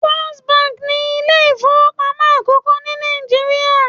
First Bank' ni Ilé ìfowópamọ́ àkókó ní Nàìjíríà